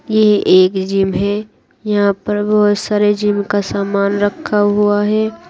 ये एक जिम है यहाँ पर बहुत सारा जिम का सामान रखा हुआ है।